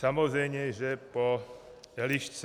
Samozřejmě že po Elišce.